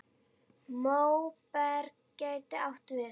Móberg gæti átt við